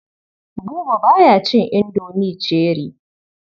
Buba ba ya cin indomi cherie.